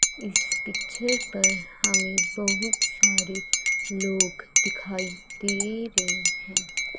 इस पिक्चर पर हमें बहुत सारे लोग दिखाई दे रहे हैं।